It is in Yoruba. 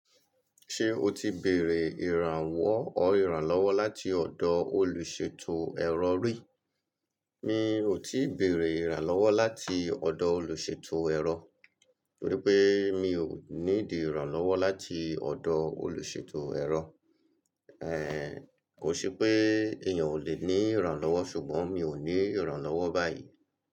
Ṣé o ti bèerè ìrànwọ́ or ìrànlọ́wọ́ láti ọ̀dọ̀ olùṣètò ẹ̀rọ rí? Mi ò tíì beèrè ìrànlọ́wọ́ láti ọ̀dọ̀ olùṣètò ẹ̀rọ, torí pé mi ò níidi ìrànlọ́wọ́ láti ọ̀dọ̀ olùṣètò ẹ̀rọ. Kò se pé èèyàn ò lè ní ìrànlọ́wọ́ ṣùgbọ́n mi ò ní ìrànlọ́wọ́ báyìí.